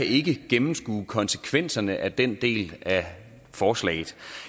ikke kan gennemskue konsekvenserne af den del af forslaget